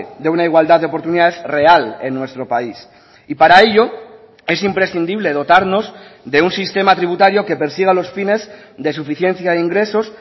de una igualdad de oportunidades real en nuestro país y para ello es imprescindible dotarnos de un sistema tributario que persiga los fines de suficiencia de ingresos